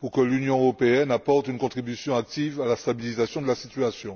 pour que l'Union européenne apporte une contribution active à la stabilisation de la situation.